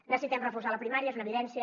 necessitem reforçar la primària és una evidència